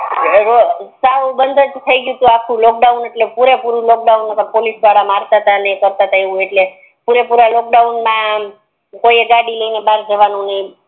સાવ બંધ જ થય ગયું ટુ લોકડાઉન એટલે પૂરે પૂરું લોકડાઉન હતુ પોલીસ વદ મારતા તા ને પૂરે પૂરા લોકડાઉન મા કોઈએ ગાડી લૈનેબર નિકડ્યું હોય તો